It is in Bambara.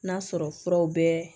N'a sɔrɔ furaw bɛ